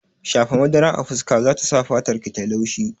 Shafa madara a fuska zata sa fatarki tayi laushi